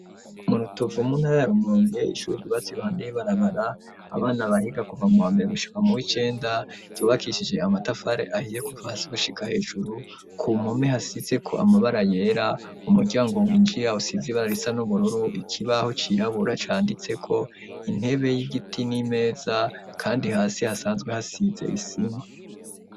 Mu Rutovu mu ntara ya Rumonge ishure ry'ubatse iruhande y'ibarabara abana bahiga kuva mu wambere gushika mu w'icenda ryubakishije amatafare ahiye kuva hasi gushika hejuru ku mome hasizeko amabara yera umuryango winjira usize ibara risa n'ubururu ikibaho cirabura canditseko intebe y'igiti n'imeza kandi hasi hasanzwe hasize isima.